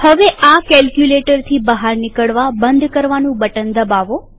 હવે આ કેલ્કયુલેટરથી બહાર નીકળવા બંધ કરવાનું બટન દબાવો